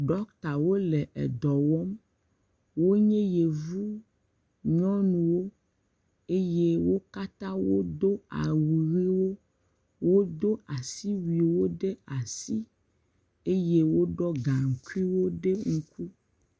Dɔkitawo le edɔ wɔm, wonye yevu nyɔnuwo eye wo katã wodo awu ʋewo, wodo asiwuiwo ɖe asi eye woɖɔ gaŋkuiwo ɖe ŋku.